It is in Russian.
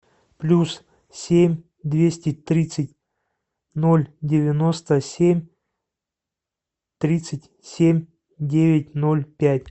плюс семь двести тридцать ноль девяносто семь тридцать семь девять ноль пять